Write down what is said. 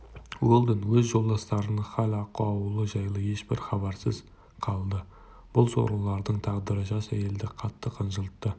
уэлдон өз жолдастарының хал-ахуалы жайлы ешбір хабарсыз қалды бұл сорлылардың тағдыры жас әйелді қатты қынжылтты